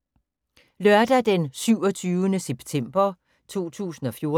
Lørdag d. 27. september 2014